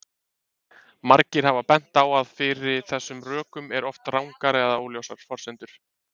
Margir hafa bent á að fyrir þessum rökum eru oft rangar eða óljósar forsendur.